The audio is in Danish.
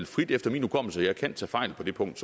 frit efter min hukommelse og jeg kan tage fejl på det punkt